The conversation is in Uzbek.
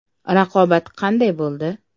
Raqobat qanday bo‘ldi?